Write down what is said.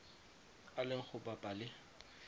a leng go bapa le